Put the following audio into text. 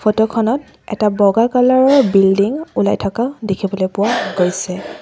Photo খনত এটা বগা কালাৰ ৰ বিল্ডিং ওলাই থাকা দেখিবলৈ পোৱা গৈছে।